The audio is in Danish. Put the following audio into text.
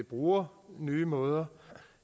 bruger nye måder